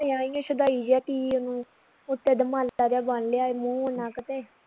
ਹੁਣੇ ਆਈ ਆ ਛਦਾਈ ਜੇ ਕੀ ਉਹਨੂੰ ਉਤੇ ਦਮਾਲਾ ਜਾ ਬੰਨ ਲਿਆ ਈ ਮੂੰਹ ਨੱਕ ਤੇ